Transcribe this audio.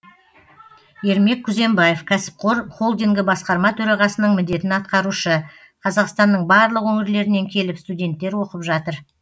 ермек күзембаев кәсіпқор холдингі басқарма төрағасының міндетін атқарушы қазақстанның барлық өңірлерінен келіп студенттер оқып жатыр